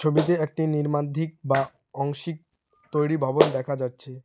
ছবিতে একটি বা অংশিক তৈরি ভবন দেখা যাচ্ছে।